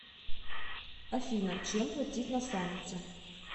афина чем платить на самете